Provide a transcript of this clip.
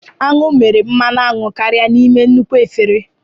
Aṅụ mere mmanụ aṅụ karịa n'ime nnukwu efere